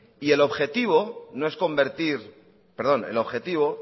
el objetivo